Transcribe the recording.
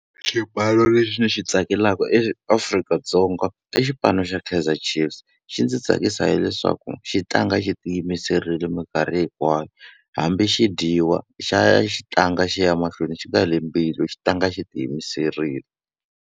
Xipano lexi ni xi tsakelaka eAfrika-Dzonga i xipano xa Kaizer Chiefs. Xi ndzi tsakisa hileswaku xi tlanga xi tiyimiserile minkarhi hinkwayo. Hambi xi dyiwa xa ya xi tlanga xi ya mahlweni xi nga heli mbilu, xi tlanga xi tiyimiserile.